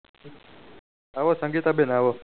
આવો સંગીતા બેન આવો